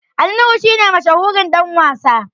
Ali nuhu shi ne mashahurin Dan wasa